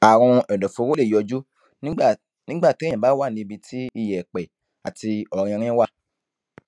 àrùn ẹdọfóró lè yọjú nígbà nígbà téèyàn bá wà níbi tí iyẹpẹ àti ọrinrin wà